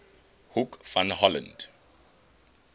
hoek van holland